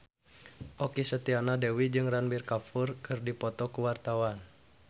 Okky Setiana Dewi jeung Ranbir Kapoor keur dipoto ku wartawan